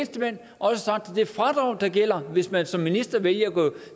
det fradrag der gælder hvis man som minister vælger at gå